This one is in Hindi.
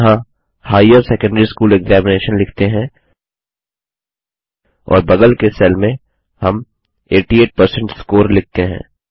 हम यहाँ हाइर सेकंडरी स्कूल एक्जामिनेशन लिखते हैं और बगल के सेल में हम 88 परसेंट स्कोर लिखते हैं